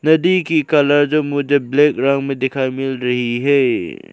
नदी की कलर जो मुझे ब्लैक रंग में देखाई मिल रही है।